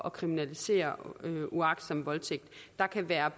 at kriminalisere uagtsom voldtægt der kan være